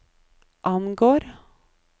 angår